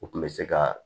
U tun bɛ se ka